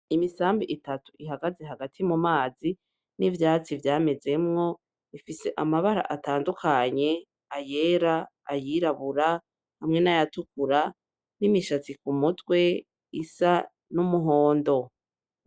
Imisambi itatu ihagaze hagati m'umazi n'ivyatsi vyamezemo, ifise amabara atandukanye ayera, ayirabura, hamwe n'ayatakura. N'imishatsi kumutwe isa n'umuhondo.